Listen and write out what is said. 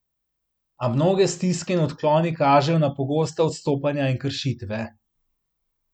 A mnoge stiske in odkloni kažejo na pogosta odstopanja in kršitve.